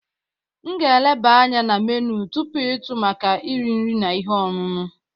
M ga-eleba anya na menu tupu ịtụ maka eri nri na ihe ọṅụṅụ.